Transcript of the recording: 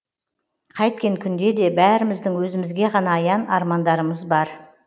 қайткен күнде де бәріміздің өзімізге ғана аян армандарымыз бар